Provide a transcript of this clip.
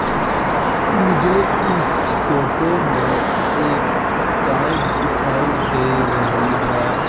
मुझे इस फोटो में एक गाय दिखाई दे रही है।